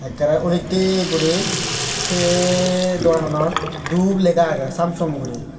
ekkerey ullottey guri sei dogananot dup lega agey Samsum guri.